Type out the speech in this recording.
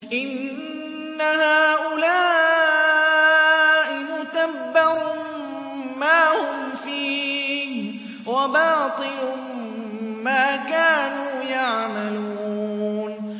إِنَّ هَٰؤُلَاءِ مُتَبَّرٌ مَّا هُمْ فِيهِ وَبَاطِلٌ مَّا كَانُوا يَعْمَلُونَ